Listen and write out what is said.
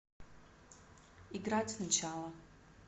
играть сначала